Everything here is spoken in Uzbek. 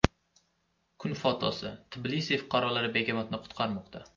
Kun fotosi: Tbilisi fuqarolari begemotni qutqarmoqda.